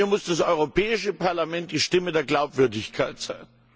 Hier muss das Europäische Parlament die Stimme der Glaubwürdigkeit sein.